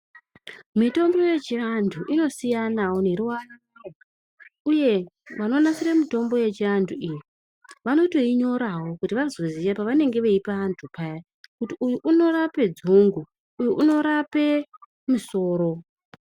Mitombo yechiantu inosiyanawo neruwarawo uye vanonasire mitombo yechiantu iyi vanotoinyorawo kuti vazoziye pavanenge veipe vantu paya kuti uyu unorape dzungu uyu unorape musoro.